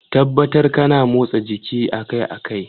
Tabbatar kana motsa jiki akai-akai.